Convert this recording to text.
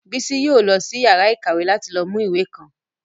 Bísí yóò lọ sí yàrá ìkàwé láti lọ mú ìwé kan